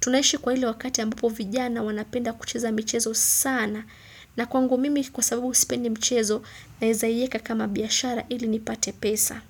tunaishi kwa ile wakati ambapo vijana wanapenda kucheza michezo sana na kwangu mimi kwa sababu sipendi mchezo naeza iyeka kama biashara ili nipate pesa.